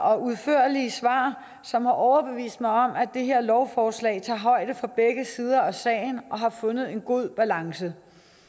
og udførlige svar som har overbevist mig om at det her lovforslag tager højde for begge sider af sagen og har fundet en god balance